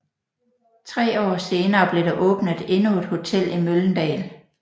Tre år senere blev der åbnet endnu et hotel i Mölndal